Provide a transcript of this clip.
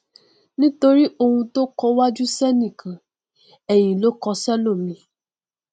nítorí oun tó kọ iwájú sẹnìkan ẹyìn ló kọ sẹlòmíì